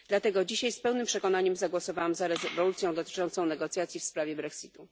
Dlatego dzisiaj z pełnym przekonaniem zagłosowałam za rezolucją dotyczącą negocjacji w sprawie Brexitu.